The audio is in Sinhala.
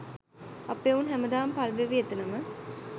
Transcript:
අපේ එවුන් හැම දාම පල්වෙවී එතනම